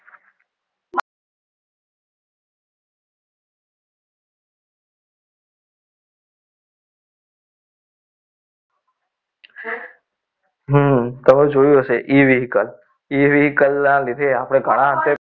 હમમ તમે જોયું હશે e vehicle e vehicle ના લીધે આપણે ઘણા અંશે